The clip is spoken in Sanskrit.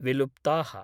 विलुप्ता: